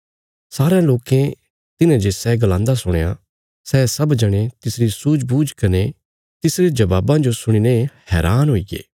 सारयां लोकें तिन्हे जे सै गलांदा सुणया सै सब जणे तिसरी सूझबूझ कने तिसरे जबाबां जो सुणीने हैरान हुईगे